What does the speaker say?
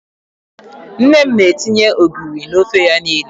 Nne m na-etinye ogiri n'ofe ya niile.